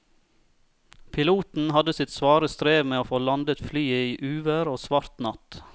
Piloten hadde sitt svare strev med å få landet flyet i uvær og svart natt.